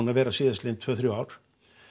að vera síðastliðin tvö þrjú ár